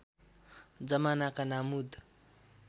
जमानाका नामुद